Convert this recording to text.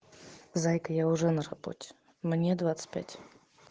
зайка я уже на работе мне двадцать пять